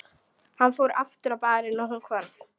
Hann fór aftur á barinn og hún hvarf.